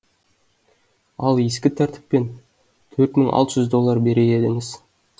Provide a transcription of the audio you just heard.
ал ескі тәртіппен төрт мың алты жүз доллар берер едіңіз